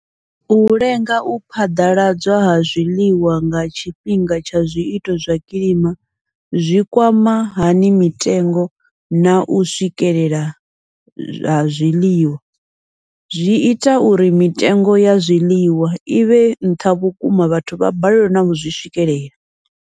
U lenga u phaḓaladzwa ha zwiḽiwa nga tshifhinga tsha zwiito zwa kilima zwi kwama hani mitengo nau swikelela ha zwiḽiwa, zwi ita uri mitengo ya zwiḽiwa ivhe nṱha vhukuma vhathu vha balelwe nau zwi swikelela.